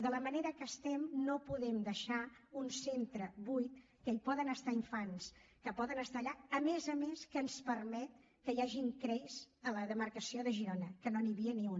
de la manera que estem no podem deixar un centre buit que hi poden estar infants que poden estar allà a més a més que ens permet que hi hagin crei a la demarcació de girona que no n’hi havia ni un